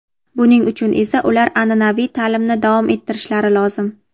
buning uchun esa ular an’anaviy ta’limni davom ettirishlari lozim.